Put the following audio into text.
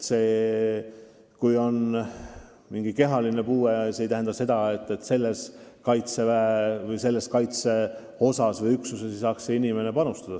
See, kui on mingi kehaline puue, ei tähenda veel, et inimene ei saaks teatud kaitseüksusse panustada.